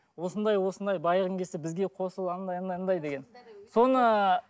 осындай осындай байығың келсе бізе қосыл андай андай андай деген соны